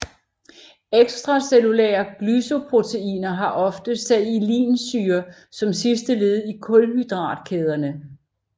Extracellulære glycoproteiner har ofte sialinsyre som sidste led i kulhydratkæderne